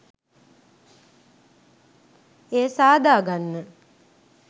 එය සාදාගන්න.